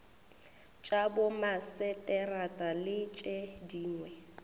tša bomaseterata le tše dingwe